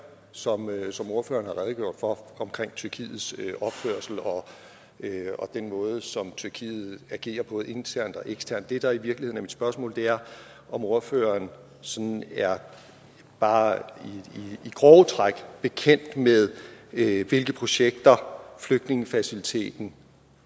som som ordføreren har redegjort for om tyrkiets opførsel og den måde som tyrkiet agerer på både internt og eksternt det der i virkeligheden spørgsmål er om ordføreren sådan bare i grove træk er bekendt med hvilke projekter flygtningefaciliteten